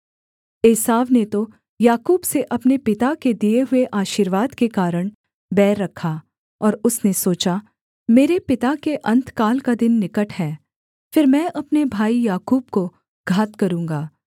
एसाव ने तो याकूब से अपने पिता के दिए हुए आशीर्वाद के कारण बैर रखा और उसने सोचा मेरे पिता के अन्तकाल का दिन निकट है फिर मैं अपने भाई याकूब को घात करूँगा